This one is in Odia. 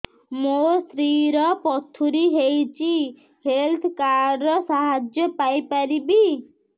ମୋ ସ୍ତ୍ରୀ ର ପଥୁରୀ ହେଇଚି ହେଲ୍ଥ କାର୍ଡ ର ସାହାଯ୍ୟ ପାଇପାରିବି